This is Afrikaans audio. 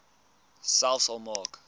selfs al maak